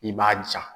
I b'a ja